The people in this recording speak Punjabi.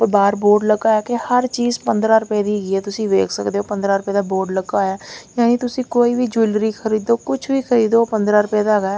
ਉਹ ਬਾਹਰ ਬੋਰਡ ਲੱਗਾ ਹੋਇਆ ਕਿ ਹਰ ਚੀਜ਼ ਪੰਦਰਾਂ ਰੁਪਏ ਦੀ ਹੈਗੀ ਆ ਤੁਸੀਂ ਵੇਖ ਸਕਦੇ ਹੋ ਪੰਦਰਾਂ ਰੁਪਏ ਦਾ ਬੋਰਡ ਲੱਗਾ ਹੋਇਆ ਯਾਨੀ ਤੁਸੀਂ ਕੋਈ ਵੀ ਜੋਵੈਲਰੀ ਖਰੀਦੋ ਕੁਝ ਵੀ ਖਰੀਦੋ ਉਹ ਪੰਦਰਾਂ ਰੁਪਏ ਦਾ ਹੈਗਾ।